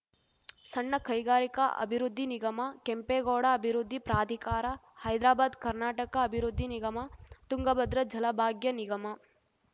ಸಣ್ಣ ಕೈಗಾರಿಕ ಅಭಿವೃದ್ಧಿ ನಿಗಮ ಕೆಂಪೇಗೌಡ ಅಭಿವೃದ್ಧಿ ಪ್ರಾಧಿಕಾರ ಹೈದ್ರಾಬಾದ್‌ ಕರ್ನಾಟಕ ಅಭಿವೃದ್ಧಿ ನಿಗಮ ತುಂಗಭದ್ರ ಜಲಭಾಗ್ಯ ನಿಗಮ